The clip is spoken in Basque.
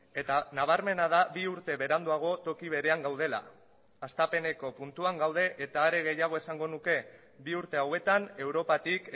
eta nabarmena da bi urte beranduago toki berean gaudela hastapeneko puntuan gaude eta are gehiago esango nuke bi urte hauetan europatik